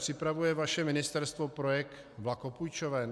Připravuje vaše ministerstvo projekt vlakopůjčoven?